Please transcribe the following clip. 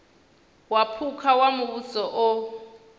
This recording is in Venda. wa phukha wa muvhuso o